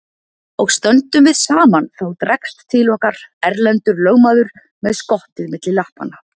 Og stöndum við saman þá dregst til okkar Erlendur lögmaður með skottið milli lappanna.